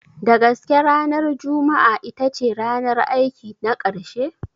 Da gaske ranar Juma'a itace ranar aiki na ƙarshe?